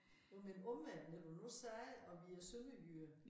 Nåh men omvendt når du nu sagde og vi er sønderjyder